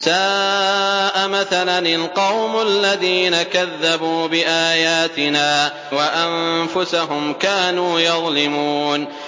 سَاءَ مَثَلًا الْقَوْمُ الَّذِينَ كَذَّبُوا بِآيَاتِنَا وَأَنفُسَهُمْ كَانُوا يَظْلِمُونَ